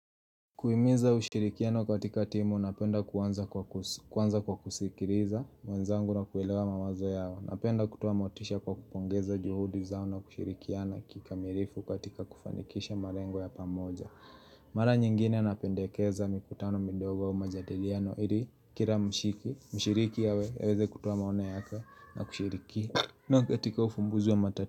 Kuhiminza ushirikiano katika timu, napenda kuanza kwa kusikiliza mwenzangu na kuelewa mawazo yao. Napenda kutoa motisha kwa kupongeza juhudi zao na kushirikiana kikamirifu katika kufanikisha marengo ya pamoja. Mara nyingine napendekeza mikutano mindogo ya majadiliano, ili kila mshiki, mshiriki awe, aweze kutoa maono yake na kushirikia. Na katika ufumbuzi wa mata.